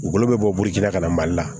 U bolo bɛ bɔ burusi la ka na mali la